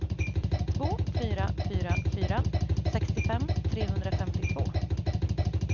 två fyra fyra fyra sextiofem trehundrafemtiotvå